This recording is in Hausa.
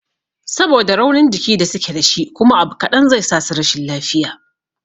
Saboda raunin jiki da suke dashi kuma abu kaɗan zai sasu rashin lafiya